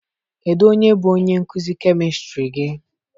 Kedu onye bu onye nkuzi kemistri gị?